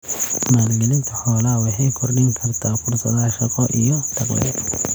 Maalgelinta xoolaha waxay kordhin kartaa fursadaha shaqo iyo dakhliga.